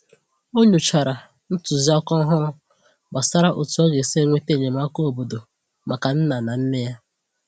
Ọ nyochàrà ntụziaka òhùrù gbasàrà otú ọ ga-esi enweta enyémàkà óbọ̀dò maka nna na nne ya.